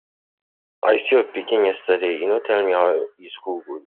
I see your pikin yesterday, e no tell me how e school go.